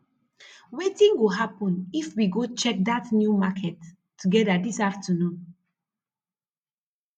wetin go happun if we go check dat new market together dis saturday